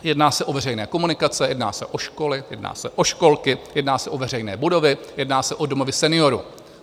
Jedná se o veřejné komunikace, jedná se o školy, jedná se o školky, jedná se o veřejné budovy, jedná se o domovy seniorů.